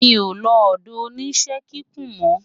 mí o ló odo oníṣe kíkún mo